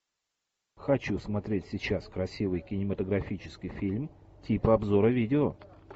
хочу смотреть сейчас красивый кинематографический фильм типа обзора видео